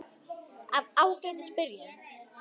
Af Ágætis byrjun